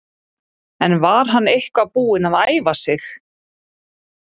En var hann eitthvað búinn að æfa sig?